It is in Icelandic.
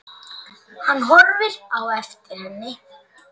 Hann horfir á eftir henni.